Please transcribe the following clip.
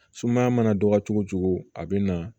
Sumaya mana dɔgɔya cogo o cogo a bɛ na